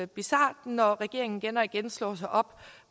bizart når regeringen igen og igen slår sig op